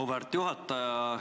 Auväärt juhataja!